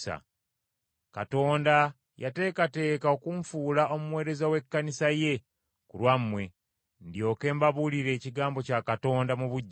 Katonda yateekateeka okunfuula omuweereza w’Ekkanisa ye ku lwammwe, ndyoke mbabuulire ekigambo kya Katonda mu bujjuvu.